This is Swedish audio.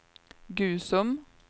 Gusum